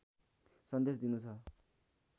सन्देश दिनु छ